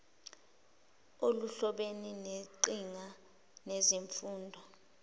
oluhlobene neqhinga lezemfundo